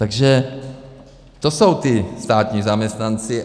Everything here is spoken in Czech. Takže to jsou ti státní zaměstnanci.